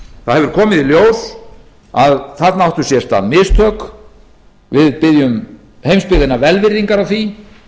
það hefur komið í ljós að þarna áttu sér stað mistök við biðjum heimsbyggðina velvirðingar á því